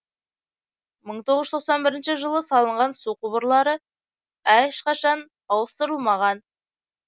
мың тоғыз жүз тоқсан бірінші жылы салынған су құбырлары ешқашан ауыстырылмаған